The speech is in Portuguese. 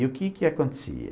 E o que que acontecia?